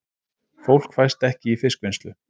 Fólk fæst ekki í fiskvinnslu